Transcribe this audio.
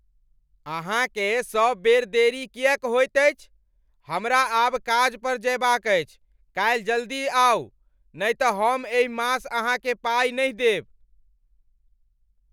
अहाँकेँ सब बेर देरी किएक होइत अछि? हमरा आब काज पर जयबाक अछि! काल्हि जल्दी आउ नहि तँ हम एहि मास अहाँकेँ पाई नहि देब।